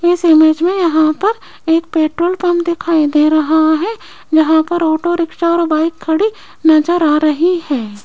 इस इमेज में यहां पर एक पेट्रोल पंप दिखाई दे रहा है यहां पर ऑटोरिक्शा और बाइक खड़ी नजर आ रही है।